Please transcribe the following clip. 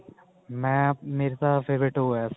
ਮੈਂ ਮੇਰੀ ਤਾਂ favourite ਉਹ ਹੈ